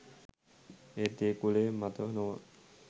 ඒත් ඒ කුලය මත නොව